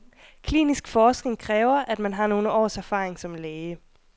Klinisk forskning kræver, at man har nogle års erfaring som læge.